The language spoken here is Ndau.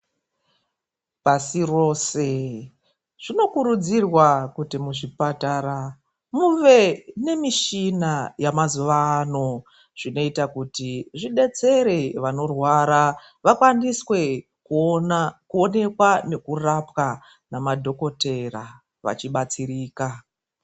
Pasi rose zvinokurudzirwa kuti muzvipatara muve nemishina yamazuva ano zvinoita kuti zvidetsere vanorwara. Vakwaniswe kuona, kuonekwa nekurapwa namadhokodheya vachibatsirika.